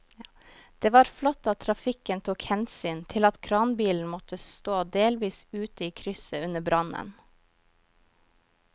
Det var flott at trafikken tok hensyn til at kranbilen måtte stå delvis ute i krysset under brannen.